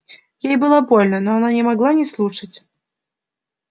ей было больно но она не могла не слушать